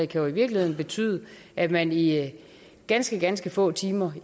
kan i virkeligheden betyde at man i ganske ganske få timer